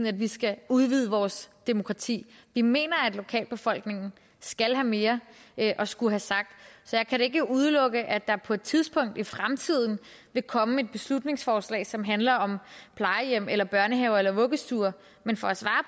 at vi skal udvide vores demokrati vi mener at lokalbefolkningen skal have mere at skulle have sagt så jeg kan da ikke udelukke at der på et tidspunkt i fremtiden vil komme et beslutningsforslag som handler om plejehjem eller børnehaver eller vuggestuer men for at svare